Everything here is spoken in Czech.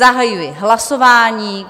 Zahajuji hlasování.